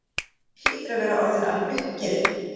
Þú hlýtur að vera orðinn alveg uppgefinn.